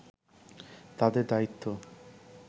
তাদের দায়িত্ব